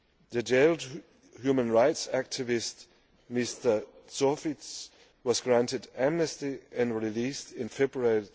The jailed human rights activist Mr Zhovtis was granted amnesty and released in February